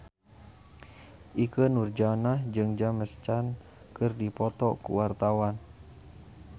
Ikke Nurjanah jeung James Caan keur dipoto ku wartawan